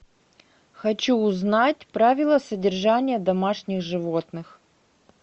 хочу узнать правила содержания домашних животных